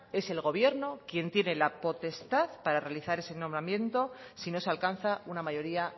es el gobierno quien tiene la potestad para realizar ese nombramiento si no se alcanza una mayoría